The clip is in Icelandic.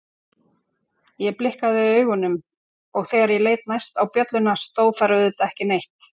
Ég blikkaði augunum og þegar ég leit næst á bjölluna stóð þar auðvitað ekki neitt.